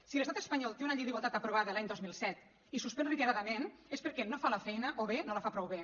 si l’estat espanyol té una llei d’igualtat aprovada l’any dos mil set i suspèn reiteradament és perquè no fa la feina o bé no la fa prou bé